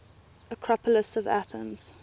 acropolis of athens